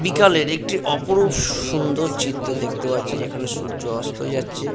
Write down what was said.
বিকালের একটি অপরূপ সুন্দর চিত্র দেখতে পাচ্ছি যেখানে সূর্য অস্ত যাচ্ছে।